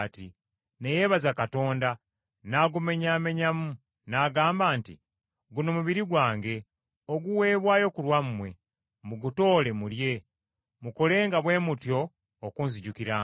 ne yeebaza Katonda, n’agumenyaamenyamu, n’agamba nti, “Guno mubiri gwange, oguweebwayo ku lwammwe, mugutoole mulye, mukolenga bwe mutyo okunzijukiranga.”